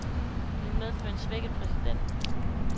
Det vil medføre en svækket præsident.